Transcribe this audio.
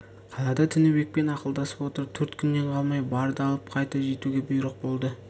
қалада тінібекпен ақылдасып отырып төрт күннен қалмай барды алып қайта жетуге бұйрық болды